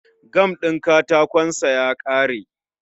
Gam din katakon sa ya kare